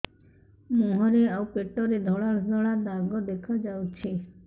ମୁହଁରେ ଆଉ ପେଟରେ ଧଳା ଧଳା ଦାଗ ଦେଖାଯାଉଛି